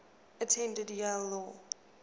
attended yale law